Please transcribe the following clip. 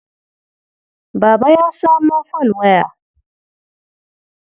Baba ya samo folwaya.